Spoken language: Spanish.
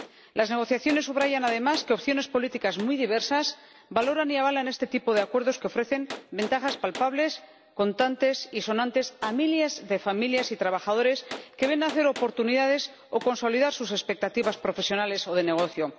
Las negociaciones subrayan además que opciones políticas muy diversas valoran y avalan este tipo de acuerdos, que ofrecen ventajas palpables, contantes y sonantes a miles de familias y trabajadores, que ven nacer oportunidades o consolidar sus expectativas profesionales o de negocio.